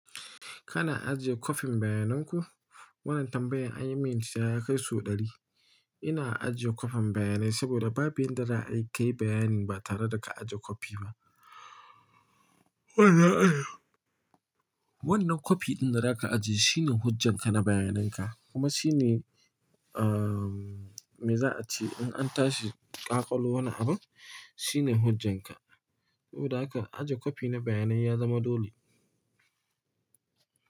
Kana ajiye kwafin bayanan ku? Wannan tambayan an yi min ita ya kai sau ɗari. Ina ajiye kwafin bayanai saboda babu yanda za'a yi kayi bayani ba tare da ka ajiye kwafi ba. Wannan kwafi ɗin da za ka ajiye shine hujjanka na bayananka kuma shine, ahhh, me za a ci in an tashi ƙaƙalo wani abun shine hujjanka. Saboda haka ajiye kwafi na bayanai ya zama dole.